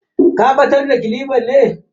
Ka batar da kilifan ne?